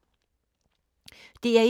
DR1